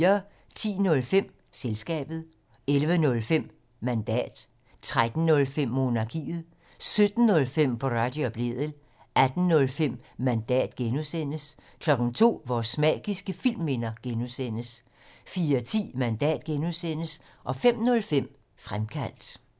10:05: Selskabet 11:05: Mandat 13:05: Monarkiet 17:05: Boraghi og Blædel 18:05: Mandat (G) 02:00: Vores magiske filmminder (G) 04:10: Mandat (G) 05:05: Fremkaldt